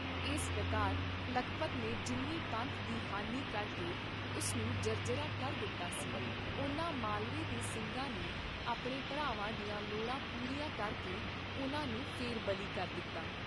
ਇਸ ਪ੍ਰਕਾਰ ਲਖਪਤ ਨੇ ਜਿੰਨੀ ਪੰਥ ਦੀ ਹਾਨੀ ਕਰਕੇ ਉਸ ਨੂੰ ਜਰਜਰਾ ਕਰ ਦਿੱਤਾ ਸੀ, ਉਨਾ ਮਾਲਵੇ ਦੇ ਸਿੰਘਾਂ ਨੇ ਆਪਣੇ ਭਰਾਵਾਂ ਦੀਆਂ ਲੋੜਾਂ ਪੂਰੀਆਂ ਕਰਕੇ ਉਨ੍ਹਾਂ ਨੂੰ ਫੇਰ ਬਲੀ ਕਰ ਦਿੱਤਾ।